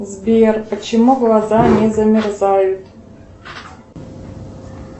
сбер почему глаза не замерзают